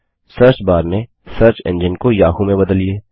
search bar में search engine को Yahoo में बदलिए